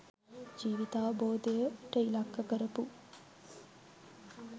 ජීවිතාවබෝධයට ඉලක්ක කරපු